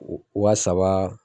Waa saba.